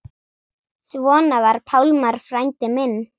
Svona var Pálmar frændi minn.